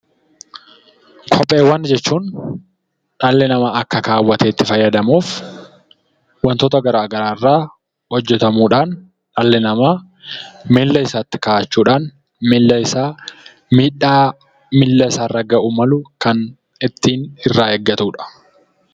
Kopheewwan jechuun dhalli namaa akka kaawwatee itti fayyadamuf wantoota gara garaa irraa hojjetamuudhaan, dhalli namaa miilla isaatti ka'achuudhaan miilla isaa miidhaa isa irra ga'uu danda'u kan ittiin irraa eeggatudha.